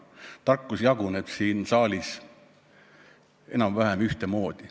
Tarkus jaguneb siin saalis enam-vähem ühtemoodi.